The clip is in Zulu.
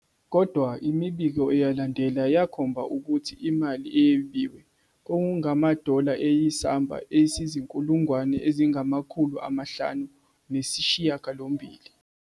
Kodwa, imibiko eyalandela yakhomba ukuthi imali eyebiwe kwakungamadola ayisamba esingama- 580 000.